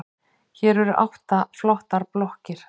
Hér eru átta flottar blokkir.